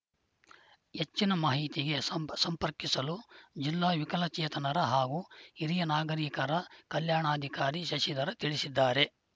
ಹೆಚ್ಚಿನ ಮಾಹಿತಿಗೆ ಸಂಪ ಸಂಪರ್ಕಿಸಲು ಜಿಲ್ಲಾ ವಿಕಲಚೇತನರ ಹಾಗೂ ಹಿರಿಯ ನಾಗರೀಕರ ಕಲ್ಯಾಣಾಧಿಕಾರಿ ಶಶಿಧರ ತಿಳಿಸಿದ್ದಾರೆ